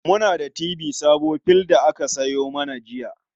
Muna da firji sabo fill da aka sayo mana jiya.